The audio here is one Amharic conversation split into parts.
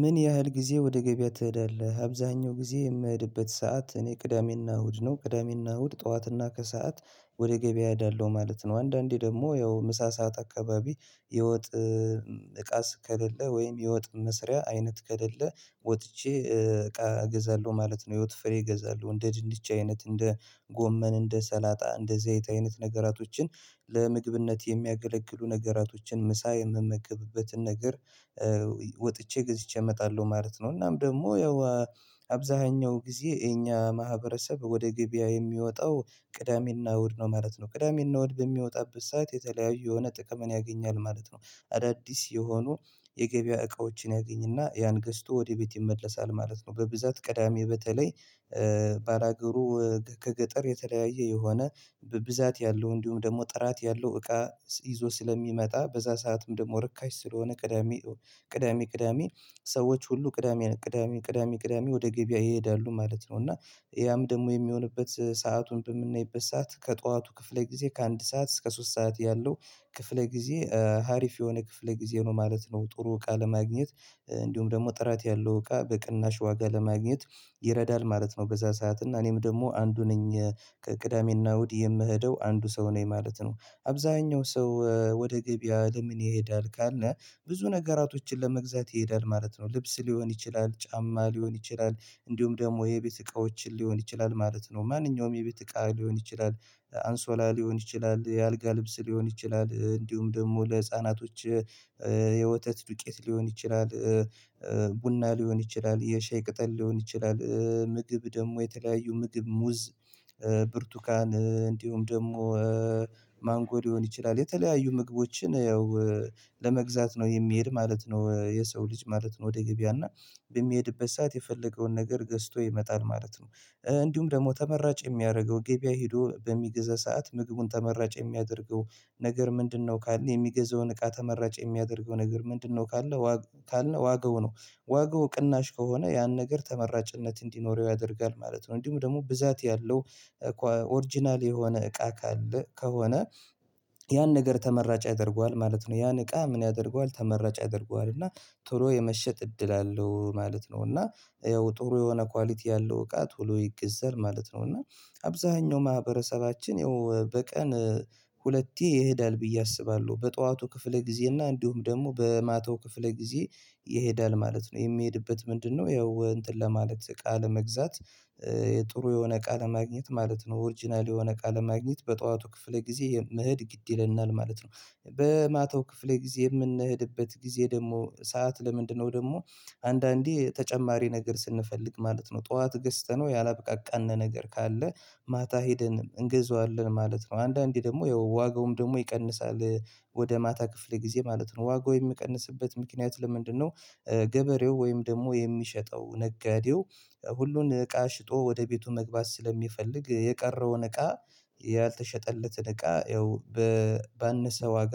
ምን ያህል ጊዜ ወደ ገበያ ትሄዳለህ? አብዛኛው ጊዜ የምሄድበት ሰዓት እኔ ቅዳሜና እሁድ ነው ቅዳሜና እሁድ ጠዋትና ከሰአት ወደ ገበያ እሄደለሁ ማለት ነው። አንዳንዴ ደግሞ ያው ምሳ ሰዓት አካባቢ የወጥ እቃስ ከሌለ ወይም የወጥ መስሪያ አይነት ከሌለ ወጥቼ እቃ እገዛለሁ ማለት ነው። የህይወት ፍሬ እገዛለሁ እንደ ድንች አይነት እንደ ጎመን እንደ ሰላጣ እንደ ዘይት አይነት ነገራቶችን ለምግብነት የሚያገለግሉ ነገራቶችን ምሳ የምመገብበትን ነገር ወጥቼ ገዝቼ እመጣለሁ ማለት ነው። እናም ደግሞ ያው አብዛኛው ጊዜ የኛ ማህበረሰብ ወደ ገበያ የሚወጣው ቅዳሜና እሁድ ነው ማለት ነው ቅዳሜና እሁድ በሚወጣበት ሰዓት የተለያዩ የሆነ ጥቅም ያገኛል ማለት ነው። አዳዲስ የሆኑ የገበያ እቃዎችን ያገኝና ያን ገዝቶ ወደ ቤት ይመለሳል ማለት ነው። በብዛት ቅዳሜ በተለይ ባላገሩ ከገጠር የተለያየ የሆነ በብዛት ያለው እንዲሁም ደግሞ ጥራት ያለው እቃ ይዞ ስለሚመጣ በዛ ሰዓትም ደግሞ ርካሽ ስለሆነ ቅዳሜ ቅዳሜ ቅዳሜ ሰዎች ሁሉ ቅዳሜ ቅዳሜ ቅዳሜ ቅዳሜ ወደ ገበያ ይሄዳሉ ማለት ነው። እና ያም ደግሞ የሚሆንበት ሰአቱን በምናይበት ሰዓት ከጧቱ ክፍለ ጊዜ ከአንድ ሰዓት እስከ ሶስት ሰዓት ያለው ክፍለ ጊዜ ሀሪፍ የሆነ ክፍለ ጊዜ ነው ማለት ነው። ጥሩ እቃ ለማግኘት እንዲሁም ደግሞ ጥራት ያለው እቃ በቅናሽ ዋጋ ለማግኘት ይረዳል ማለት ነው። በዛ ሰዓት እና እኔም ደግሞ አንዱ ነኝ ከቅዳሜና እሁድ የምሄደው አንዱ ሰው ነኝ ማለት ነው። አብዛኛው ሰው ወደ ገበያ ለምን ይሄዳል ካልነ ብዙ ነገራቶችን ለመግዛት ይሄዳል ማለት ነው። ልብስ ሊሆን ይችላል ጫማ ሊሆን ይችላል እንዲሁም ደግሞ የቤት እቃዎችን ሊሆን ይችላል ማለት ነው። ማንኛውም የቤት እቃ ሊሆን ይችላል አንሶላ ሊሆን ይችላል የአልጋ ልብስ ሊሆን ይችላል እንዲሁም ደግሞ ለህፃናቶች የወተት ዱቄት ሊሆን ይችላል ቡና ሊሆን ይችላል የሻይ ቅጠል ሊሆን ይችላል ምግብ ደግሞ የተለያዩ ምግብ ሙዝ ብርቱካን እንዲሁም ደግሞ ማንጎ ሊሆን ይችላል የተለያዩ ምግቦችን ያው ለመግዛት ነው የሚሄድ ማለት ነው። የሰው ልጅ ማለት ነው ወደ ገበያ እና በሚሄድበት ሰዓት የፈለገውን ነገር ገዝቶ ይመጣል ማለት ነው። እንዲሁም ደግሞ ተመራጭ የሚያደርገው ገበያ ሄዶ በሚገዛ ሰዓት ምግቡን ተመራጭ የሚያደርገው ነገር ምንድነው ካልን የሚገዛውን እቃ ተመራጭ የሚያደርገው ነገር ምንድነው? ካልን ካልን ዋጋው ነው ዋጋው ቅናሽ ከሆነ ያን ነገር ተመራጭነት እንዲኖረው ያደርጋል ማለት ነው። እንዲሁም ደግሞ ብዛት ያለው ኦሪጅናል የሆነ እቃ ካለ ከሆነ ያን ነገር ተመራጭ ያደርገዋል ማለት ነው። ያን እቃ ምን ያደርገዋል ተመራጭ ያደርገዋል እና ቶሎ የመሸጥ እድል አለው ማለት ነው። እና ያው ጥሩ የሆነ ኳሊቲ ያለው እቃ ቶሎ ይገዛል ማለት ነው። እና አብዛኛው ማህበረሰባችን ይኸው በቀን ሁለቴ ይሄዳል ብዬ አስባለሁ በጠዋቱ ክፍለ ጊዜ እና እንዲሁም ደግሞ በማታው ክፍለ ጊዜ ይሄዳል ማለት ነው። የሚሄድበት ምንድነው? ያው እንጥን ለማለት እቃ ለመግዛት የጥሩ የሆነ እቃ ለማግኘት ማለት ነው ኦርጅናል የሆነ እቃ ለማግኘት በጠዋቱ ክፍለ ጊዜ መሄድ ግድ ይለናል ማለት ነው። በማታው ክፍሌ ጊዜ የምንሄድበት ጊዜ ደግሞ ሰዓት ለምንድነው? ደግሞ አንዳንዴ ተጨማሪ ነገር ስንፈልግ ማለት ነው ጠዋት ገዝተነው ያላበቃቃን ነገር ካለ ማታ ሄደን እንገዛዋለን ማለት ነው አንዳንዴ ደግሞ ያው ዋጋውም ደግሞ ይቀንሳል ወደ ማታ ክፍል ጊዜ ማለት ነው። ዋጋው የሚቀንስበት ምክንያት ለምንድነው? ገበሬው ወይም ደግሞ የሚሸጠው ነጋዴው ሁሉን እቃ ሽጦ ወደ ቤቱ መግባት ስለሚፈልግ የቀረውን እቃ ያልተሸጠለትን እቃ ያው ባነሰ ዋጋ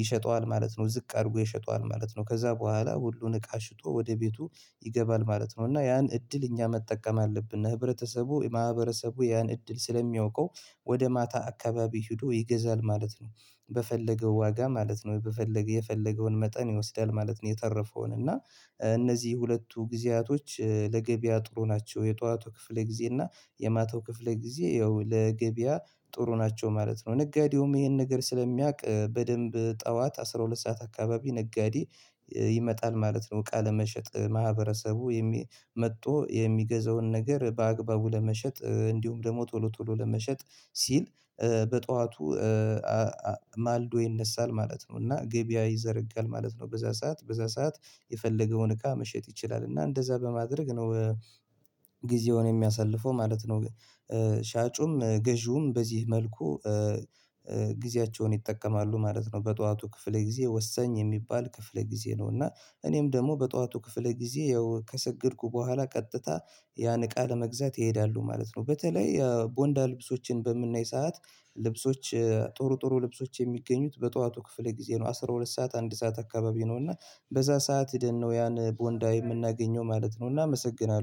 ይሸጠዋል ማለት ነው ዝቅ አድርጎ ይሸጠዋል ማለት ነው። ከዛ በኋላ ሁሉን እቃ ሽጦ ወደ ቤቱ ይገባል ማለት ነው። እና ያን እድል እኛ መጠቀም አለብን ህብረተሰቡ ማህበረሰቡ ያን እድል ስለሚያውቀው ወደ ማታ አካባቢ ሄዶ ይገዛል ማለት ነው። በፈለገው ዋጋ ማለት ነው በፈለገ የፈለገውን መጠን ይወስዳል ማለት ነው። የተረፈውን እና እነዚህ ሁለቱ ጊዜያቶች ለገበያ ጥሩ ናቸው የጧቱ ክፍል ጊዜ እና የማታው ክፍል ጊዜ ያው ለገበያ ጥሩ ናቸው ማለት ነው። ነጋዴውም ይሄን ነገር ስለሚያውቅ በደንብ ጠዋት አስራ ሁለት ሰዓት አካባቢ ነጋዴ ይመጣል ማለት ነው። እቃ ለመሸጥ ማህበረሰቡ የሚ መቶ የሚገዛውን ነገር በአግባቡ ለመሸጥ እንዲሁም ደግሞ ቶሎ ቶሎ ለመሸጥ ሲል በጧዋቱ ማልዶ ይነሳል ማለት ነው። እና ገበያ ይዘረጋል ማለት ነው በዛ ሰዓት በዛ ሰዓት የፈለገውን እቃ መሸጥ ይችላል እና እንደዛ በማድረግ ነው ጊዜውን የሚያሳልፈው ማለት ነው። ሻጩም ገዢውም በዚህ መልኩ ጊዜያቸውን ይጠቀማሉ ማለት ነው። በጠዋቱ ክፍል ጊዜ ወሳኝ የሚባል ክፍል ጊዜ ነው። እና እኔም ደግሞ በጠዋቱ ክፍል ጊዜ ያው ከሰገድኩ በኋላ ቀጥታ ያን እቃ ለመግዛት ይሄዳሉ ማለት ነው። በተለይ ያው ቦንዳ ልብሶችን በምናይ ሰዓት ልብሶች ጡሩ ጡሩ ልብሶች የሚገኙት በጧቱ ክፍል ጊዜ ነው አስራ ሁለት ሰዓት አንድ ሰዓት አካባቢ ነው እና በዛ ሰዓት ሄደን ነው ያን ቦንዳ የምናገኘው ማለት ነው። እና አመሰግናለሁ